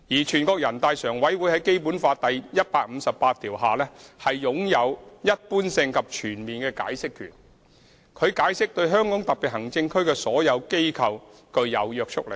全國人大常委會在《基本法》第一百五十八條下，擁有條文的一般性及全面解釋權，其所作解釋對香港特別行政區所有機構均具有約束力。